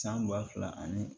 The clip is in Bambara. San ba fila ani